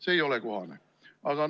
See ei ole kohane!